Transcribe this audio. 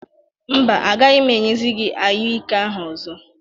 Mba, agaghị m enyezi gị anyụike ahụ ọzọ.